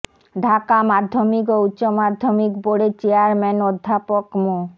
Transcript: ঢাকা মাধ্যমিক ও উচ্চ মাধ্যমিক বোর্ডের চেয়ারম্যান অধ্যাপক মো